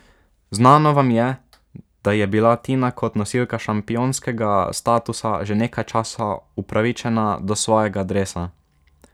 Znano vam je, da je bila Tina kot nosilka šampionskega statusa že nekaj časa upravičena do svojega dresa.